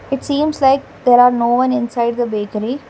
It seems like there are no one inside the bakery.